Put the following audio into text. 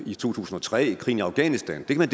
i to tusind og tre og krigen i afghanistan men